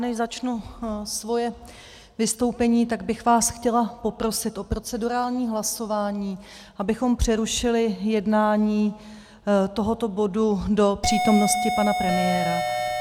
Než začnu svoje vystoupení, tak bych vás chtěla poprosit o procedurální hlasování, abychom přerušili jednání tohoto bodu do přítomnosti pana premiéra.